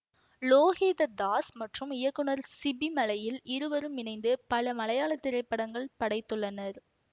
லோகித தாஸ் மற்றும் இயக்குநர் சிபிமலையில் இருவரும் இணைந்து பல மலையாள திரைப்படங்கள் படைத்துள்ளனர்